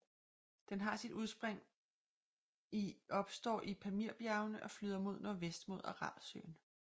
Den har sit udspring i opstår i Pamirbjergene og flyder mod nordvest mod Aralsøen